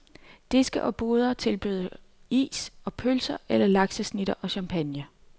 Diske og boder tilbyder is og pølser eller laksesnitter og champagne.